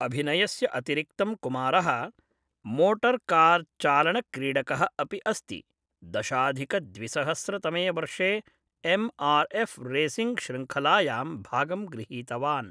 अभिनयस्य अतिरिक्तं कुमारः मोटर्कार्चालनक्रीडकः अपि अस्ति, दशाधिकद्विसहस्रतमे वर्षे एम् आर् एफ़् रेसिंग् श्रृङ्खलायां भागं गृहीतवान् ।